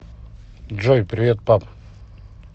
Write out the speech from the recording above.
джой привет пап